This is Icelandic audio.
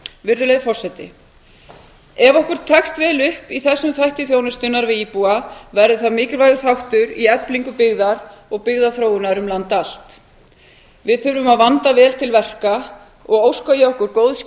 virðulegi forseti ef okkur tekst vel upp í þessum þætti þjónustunnar við íbúa verður það mikilvægur þáttur í eflingu byggðar og byggðaþróunar um land allt við þurfum að vanda vel til verka og óska ég okkur góðs